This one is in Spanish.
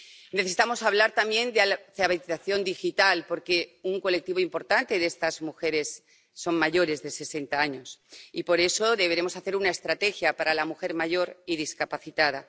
Necesitamos hablar también de alfabetización digital, porque un colectivo importante de estas mujeres son mayores de sesenta años y por eso deberemos elaborar una estrategia para la mujer mayor y discapacitada.